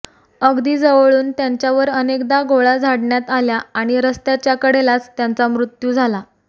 अगदी जवळून त्यांच्यावर अनेकदा गोळ्या झाडण्यात आल्या आणि रस्त्याच्या कडेलाच त्यांचा मृत्यू झाला